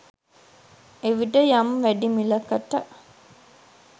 එවිට යම් වැඩි මිලකට